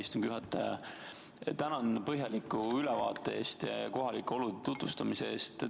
Lugupeetud ettekandja, tänan põhjaliku ülevaate eest ja kohalike olude tutvustamise eest!